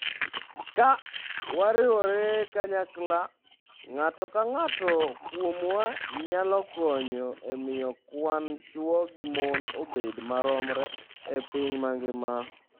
Ka wariwore kanyachiel, ng'ato ka ng'ato kuomwa nyalo konyo e miyo kwan chwo gi mon obed maromre e piny mangima".